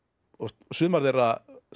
sumar þeirra